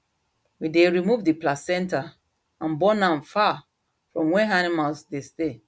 we dey remove the placenta and burn am far from where animals dey stay